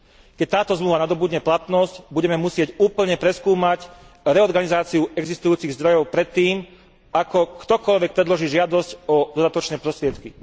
Keď táto zmluva nadobudne platnosť, budeme musieť úplne preskúmať reorganizáciu existujúcich zdrojov predtým, ako ktokoľvek predloží žiadosť o dodatočné prostriedky.